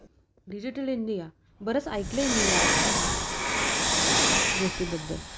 Digital India? बरच ऐकलं आहे मी या गोष्टी बद्दल.